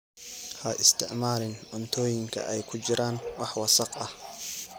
Ha isticmaalin cuntooyinka ay ku jiraan wax wasakh ah.